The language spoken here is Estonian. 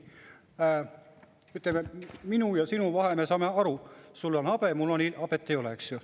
Ütleme, minu ja sinu vahe, me saame aru, sul on habe, mul ei ole habet.